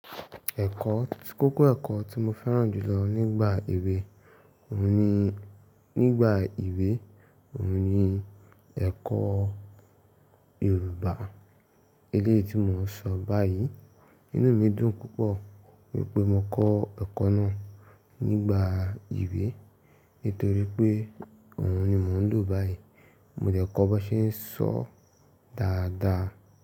Ẹ̀kọ́, tí kókó ẹ̀kọ́ tí mo fẹ́ràn jù lọ nígbà èwe òun ni, nígbà ìwé òun ni ẹ̀kọ́ Yorùbá. Eléyìí tí mò ń sọ báyìí, inú mi dùn púpọ̀ wípé mo kọ́ ẹ̀kọ́ náà nígbà ìwé nítorí pé òun ni mò ń lò báyìí. Mo dẹ̀ kọ́ b'ọ́n ṣe ń sọọ́ dáadáa.